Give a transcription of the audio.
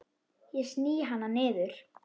Ég sný hana niður.